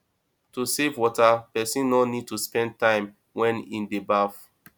to save water person no need to spend time wen im dey baf